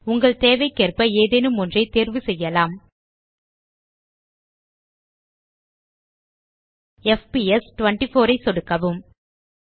உங்கள் தேவைக்கேற்ப ஏதேனும் ஒன்றை தேர்வு செய்யலாம் எஃப்பிஎஸ் 24 ஐ சொடுக்கவும்